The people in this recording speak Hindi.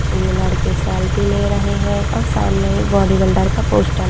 ये लड़के सेल्फी ले रहे है और सामने ही बॉडी बिल्डर का पोस्टर --